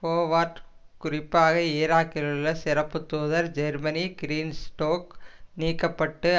Howard குறிப்பாக ஈராக்கிலுள்ள சிறப்புத்தூதர் ஜெர்மனி கிரீன்ஸ்டோக் நீக்க பட்டு